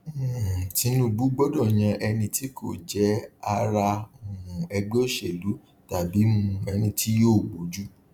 um tinubu gbọdọ yàn ẹni tí kò jẹ ará um ẹgbẹ òṣèlú tàbí um ẹni tí yíò gbójú